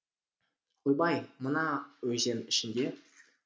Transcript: ойбай мын а өзен ішінде